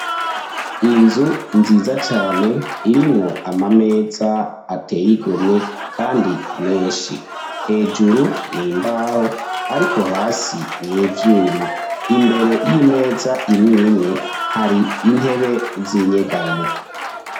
Inzu nziza cane irimwo ama meza ateye igomwe kandi menshi. Hejuru ni imbaho ariko hasi ni ivyuma. Imbere y'imeza imwe imwe, hari intebe z'inyegamo.